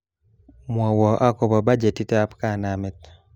Mwowo akobo bajetitab kanamet